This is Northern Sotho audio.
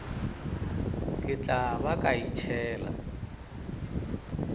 ke tla ba ka itšhela